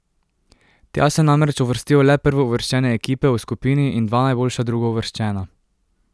Tja se namreč uvrstijo le prvouvrščene ekipe v skupini in dva najboljša drugouvrščena.